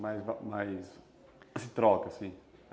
Mais esse assim?